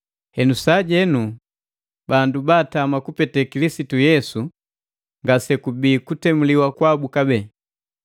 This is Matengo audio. Henu sajenu bandu baatama kupete Kilisitu Yesu ngase kubii kutemuliwa kwabu kabee.